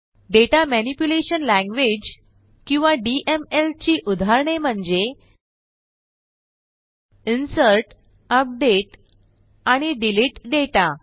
दाता manipulation Languageकिंवा DML ची उदाहरणे म्हणजे इन्सर्ट अपडेट आणि डिलीट डेटा